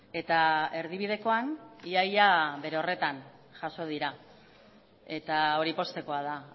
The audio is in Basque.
eta erdibidekoan ia ia bere horretan jaso dira eta hori poztekoa da